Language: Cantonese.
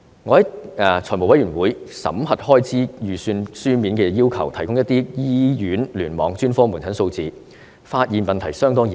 我在財務委員會審核開支預算時，書面要求當局提供一些醫院聯網專科門診數字，發現問題相當嚴重。